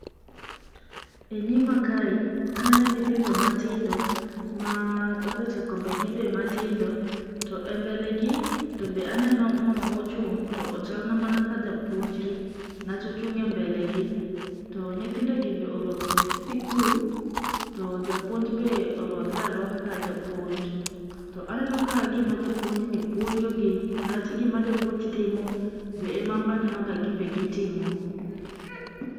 E nyima kae, aneno nyithindo matindo ma obet e kombegi be matindo. To e mbele gi to be aneno mama mochung' to ochal na ma ka japuonjgi niwach ochung' e mbele gi. To nyithindo gi be orwako lep sikul to japuonj be orwakre arwaka ka japuonj. To aneno ka gima japuonj ni puonjogi niwach gima japuonj timo be e ma anbe aneno ka ginbe gitimo.